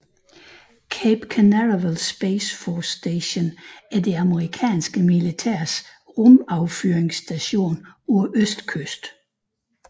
Cape Canaveral Space Force Station er det amerikanske militærs rumaffyringsstation på østkysten